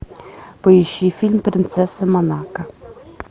поищи фильм принцесса монако